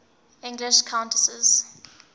english countesses